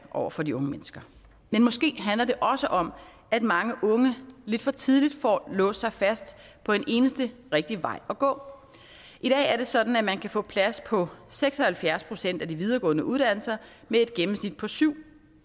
over for de unge mennesker men måske handler det også om at mange unge lidt for tidligt får låst sig fast på en eneste rigtig vej at gå i dag er det sådan at man kan få plads på seks og halvfjerds procent af de videregående uddannelser med et gennemsnit på syv